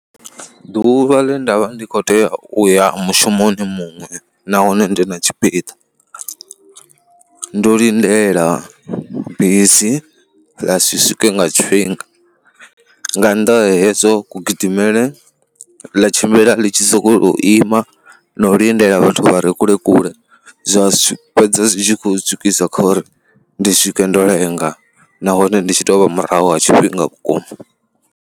Ḓuvha ḽe nda vha ndi khou tea u ya mushumoni muṅwe nahone ndi na tshipiḓa, ndo lindela bisi ḽa si swike nga tshifhinga. Nga nnḓa hezwo kugidimele ḽa tshimbila ḽi tshi sokou ima na u lindela vhathu vha re kule kule, zwa fhedza zwi tshi khou ntswikisa kha uri ndi swike ndo lenga nahone ndi tshi tou vha murahu ha tshifhinga vhukuma.